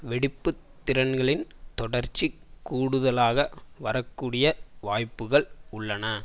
வெடிப்பு திறன்களின் தொடர்ச்சி கூடுதலாக வரக்கூடிய வாய்ப்புக்கள் உள்ளன